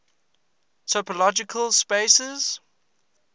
topological spaces